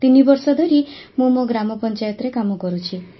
ତିନିବର୍ଷ ଧରି ମୁଁ ମୋ ଗ୍ରାମପଞ୍ଚାୟତରେ କାମ କରୁଛି